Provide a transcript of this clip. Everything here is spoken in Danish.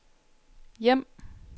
hjem